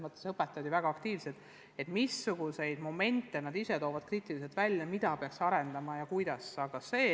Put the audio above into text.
Meie õpetajad on väga aktiivsed ja arutavad kriitiliselt momente, mida peaks arendama, ja teevad ettepanekuid, kuidas.